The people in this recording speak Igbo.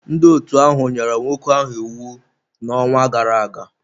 Ndị otu ahụ nyere nwoke ahụ iwu n'ọnwa gara aga.